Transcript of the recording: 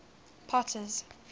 potter's